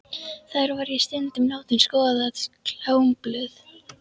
Þar var ég stundum látin skoða klámblöð.